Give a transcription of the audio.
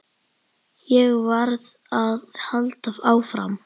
Ég varð að halda áfram.